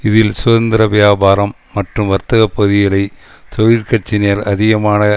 இதில் சுதந்திர வியாபாரம் மற்றும் வர்த்தக பகுதிகளை தொழிற்கட்சியினர் அதிகமாக